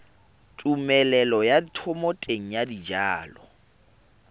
tumelelo ya thomeloteng ya dijalo